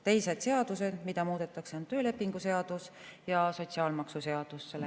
Teised seadused, mida selle käigus muudetakse, on töölepingu seadus ja sotsiaalmaksuseadus.